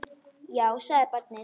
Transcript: Já, sagði barnið.